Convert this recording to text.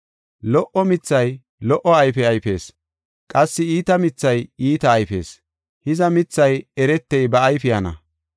“Lo77o mithay lo77o ayfe ayfees; qassi iita mithay iita ayfees. Hiza, mithay eretey ba ayfiyana.